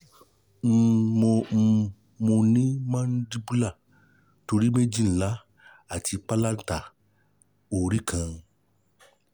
um mo um mo ni mandibular tori meji nla ati palata ori kan